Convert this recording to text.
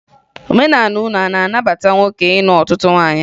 Omenala unu a na-abata nwoke ịnụ ọtụtụ nwaanyị